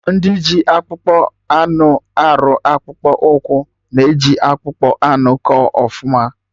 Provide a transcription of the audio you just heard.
Ndị ji akpụkpọ anụ arụ akpụkpụ ụkwụ na-eji akpụkpọ anụ kọ ọfụma